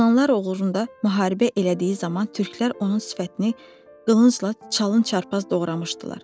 Yunanlılar uğrunda müharibə elədiyi zaman türklər onun sifətini qılıncla çalın çarpaz doğramışdılar.